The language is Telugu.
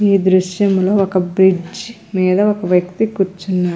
ఈ దృశ్యం లో ఒక బ్రిడ్జి మీద ఒక వ్యక్తి కూర్చున్నాడు--